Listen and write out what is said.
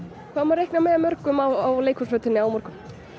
hvað má reikna með mörgum á leikhúsflötinni á morgun